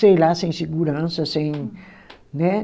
sei lá, sem segurança, sem, né?